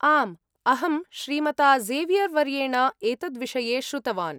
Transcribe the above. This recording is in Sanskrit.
आम् अहं श्रीमता ज़ेवियर्वर्येण एतद्विषये श्रुतवान्।